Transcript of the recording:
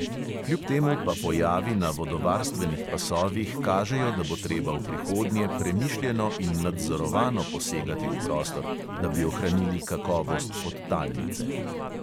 Kljub temu pa pojavi na vodovarstvenih pasovih kažejo, da bo treba v prihodnje premišljeno in nadzorovano posegati v prostor, da bi ohranili kakovost podtalnice.